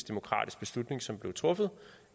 demokratisk beslutning som blev truffet